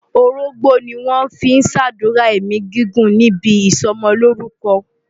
Orógbó ni wọ́n fi ń ṣàdúrà ẹ̀mí gígùn níbi ìsọmọlórúkọ.